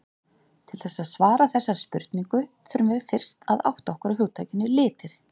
Til þess að svara þessari spurningu þurfum við fyrst að átta okkur á hugtakinu litir.